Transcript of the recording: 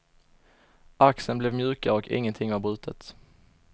Axeln blev mjukare och ingenting var brutet.